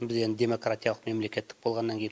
біз енді демократиялық мемлекеттік болғаннан кейін